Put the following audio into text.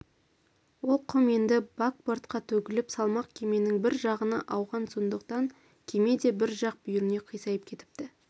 ол құм енді бакбортқа төгіліп салмақ кеменің бір жағына ауған сондықтан кеме де бір жақ бүйіріне қисайып кетіпті